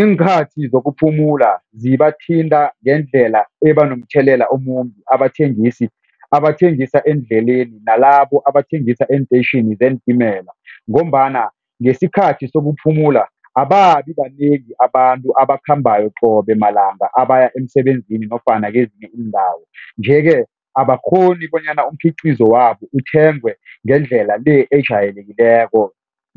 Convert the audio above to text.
Iinkhathi zokuphumula zibathinta ngendlela ebanomthelela omumbi abathengisi abathengisa eendleleni nalabo abathengisa eenteyitjhini zeentimela ngombana ngesikhathi sokuphumula ababi banengi abantu abakhambako qobe malanga abaya emsebenzini nofana kezinye iindawo. Nje-ke abakghoni bonyana umkhiqizo wabo uthengwe ngendlela le ejayelekileko